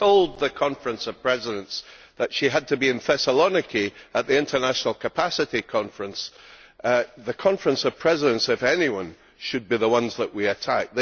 She told the Conference of Presidents that she had to be in Thessaloniki at the international fishing capacity conference. The Conference of Presidents, if anyone, should be the ones that we attack.